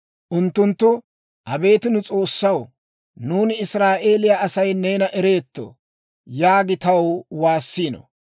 Unttunttu, ‹Abeet nu S'oossaw, nuuni Israa'eeliyaa Asay neena ereetto› yaagiide taw waassiino.